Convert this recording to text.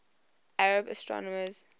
arab astronomers